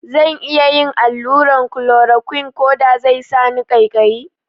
Zan iya yin allurar klorokwin koda sai sani ƙaikayi?